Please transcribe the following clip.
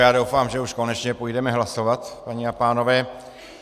Já doufám, že už konečně půjdeme hlasovat, paní a pánové.